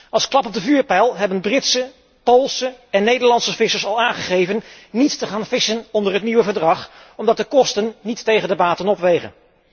Als klap op de vuurpijl hebben Britse, Poolse en Nederlandse vissers al aangegeven niet te gaan vissen onder het nieuwe verdrag, omdat de kosten niet tegen de baten opwegen.